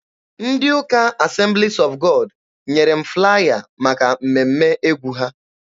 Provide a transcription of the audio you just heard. Ndị ụka Assemblies of God nyere m flaya maka mmemme egwu ha.